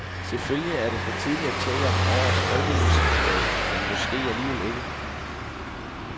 Selvfølgelig er det for tidligt at tale om årets folkemusikplade, men måske alligevel ikke.